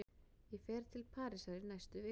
Ég fer til Parísar í næstu viku.